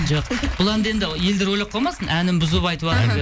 жоқ бұл әнді енді елдер ойлап қалмасын әнін бұзып айтыватыр деп